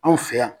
Anw fɛ yan